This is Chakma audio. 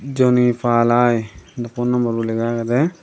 jonipa lai phone number bo lega agede.